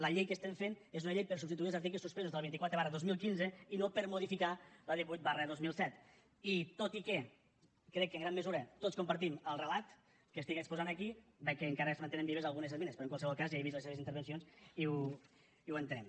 la llei que estem fent és una llei per substituir els articles suspesos de la vint quatre dos mil quinze i no per modificar la divuit dos mil set i tot i que crec que en gran mesura tots compartim el relat que estic exposant aquí veig que encara es mantenen vives algunes esmenes però en qualsevol cas ja he vist les seves intervencions i ho entenem